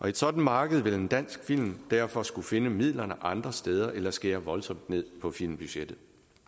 et sådant marked vil en dansk film derfor skulle finde midlerne andre steder eller skære voldsomt ned på filmbudgettet